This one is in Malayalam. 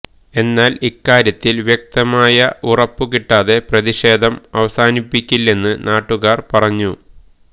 എന്നാല് ഇക്കാര്യത്തില് വ്യക്തമായ ഉറപ്പ് കിട്ടാതെ പ്രതിഷേധം അവസാനിപ്പിക്കില്ലെന്ന് നാട്ടുകാര് പറഞ്ഞു